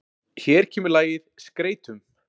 Hér kemur lagið SKREYTUM.